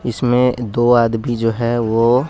इसमें दो आदमी जो है वो--